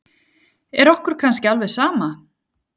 Er okkur kannski alveg sama?